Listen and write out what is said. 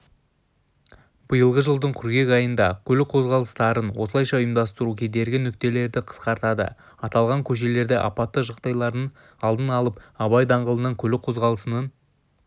биылғы жылдың қыркүйек айында көлік қозғалыстарын осылайша ұйымдастыру кедергі нүктелерді қысқартады аталған көшелерде апатты жағдайлардың алдын алып абай даңғылындағы көлік қозғалысының